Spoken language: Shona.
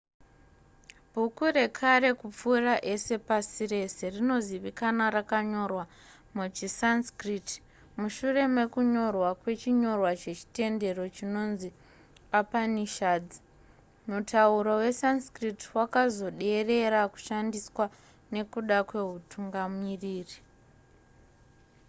bhuku rekare kupfuura ese pasi rese rinozivikanwa rakanyorwa muchisanskrit mushure mekunyorwa kwechinyorwa chechitendero chinonzi upanishads mutauro wesanskrit wakazoderera kushandiswa nekuda kweutungamiriri